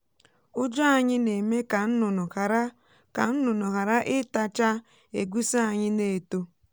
ụjọ anyị na-eme ka nnụnụ ghara ka nnụnụ ghara ịta cha egusi anyị na-eto.